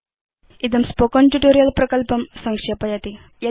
इदं spoken tutorial प्रकल्पं संक्षेपयति